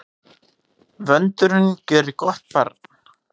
Vöndurinn gjörir gott barn.